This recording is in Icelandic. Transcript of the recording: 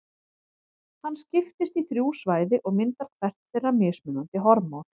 Hann skiptist í þrjú svæði og myndar hvert þeirra mismunandi hormón.